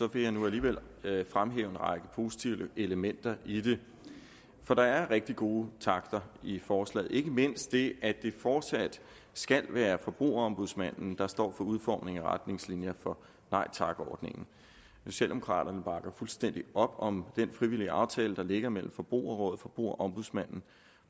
vil jeg nu alligevel fremhæve en række positive elementer i det for der er rigtig gode takter i forslaget ikke mindst det at det fortsat skal være forbrugerombudsmanden der står for udformningen af retningslinjer for nej tak ordningen socialdemokraterne bakker fuldstændig op om den frivillige aftale der ligger mellem forbrugerrådet forbrugerombudsmanden